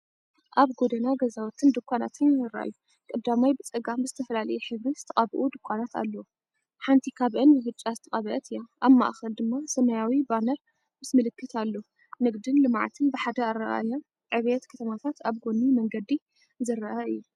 ኣብ ጎደና ከተማ ገዛውትን ድኳናትን ይረኣዩ። ቀዳማይ ብጸጋም ብዝተፈላለየ ሕብሪ ዝተቐብኡ ድኳናት ኣለዋ፡ ሓንቲ ካብአን ብብጫ ዝተቐብአት እያ። ኣብ ማእከል ድማ ሰማያዊ ባነር ምስ ምልክት ኣሎ። ንግድን ልምዓትን ብሓደ ኣረኣእያ፣ ዕብየት ከተማታት ኣብ ጎኒ መንገዲ ዝረአ እዩ።